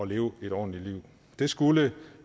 leve et ordentligt liv det skulle